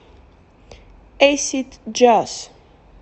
эйсид джаз